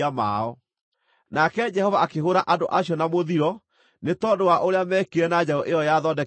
Nake Jehova akĩhũũra andũ acio na mũthiro nĩ tondũ wa ũrĩa meekire na njaũ ĩyo yathondeketwo nĩ Harũni.